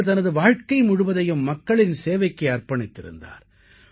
அவர் தனது வாழ்க்கை முழுவதையும் மக்களின் சேவைக்கே அர்ப்பணித்திருந்தார்